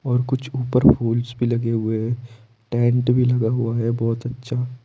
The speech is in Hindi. और कुछ ऊपर फूल्स भी लगे हुए हैं टेंट भी लगा हुआ है बहोत अच्छा--